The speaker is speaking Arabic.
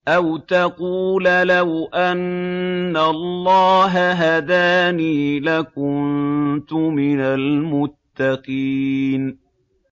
أَوْ تَقُولَ لَوْ أَنَّ اللَّهَ هَدَانِي لَكُنتُ مِنَ الْمُتَّقِينَ